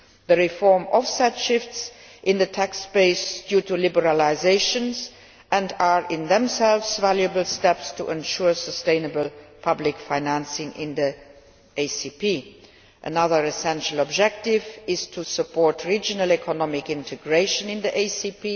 The reforms offset shifts in the tax base due to liberalisation and are in themselves valuable steps to ensuring sustainable public financing in the ACP. Another essential objective is to support regional economic integration in the ACP.